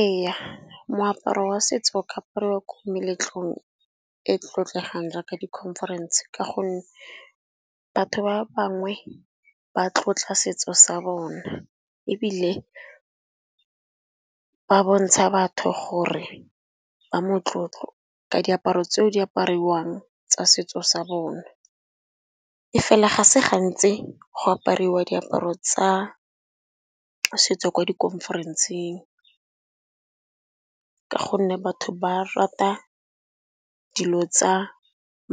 Ee moaparo wa setso o ka apariwa ko meletlong e tlotlegang jaaka di-conference ka gonne, batho ba bangwe ba tlotla setso sa bona ebile ba bontsha batho gore ba motlotlo ka diaparo tseo di apariwang tsa setso sa bona. E fela ga se gantsi go apariwa diaparo tsa setso ko di-conference-eng ka gonne batho ba rata dilo tsa